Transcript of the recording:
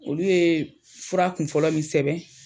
Olu yee fura kun fɔlɔ min sɛbɛn